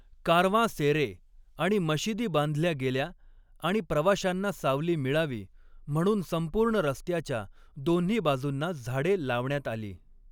कारवांसेरे आणि मशिदी बांधल्या गेल्या आणि प्रवाशांना सावली मिळावी म्हणून संपूर्ण रस्त्याच्या दोन्ही बाजूंना झाडे लावण्यात आली.